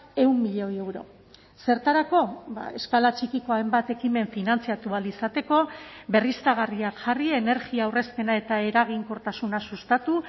ehun milioi euro zertarako eskala txikiko hainbat ekimen finantzatu ahal izateko berriztagarriak jarri energia aurrezpena eta eraginkortasuna sustatu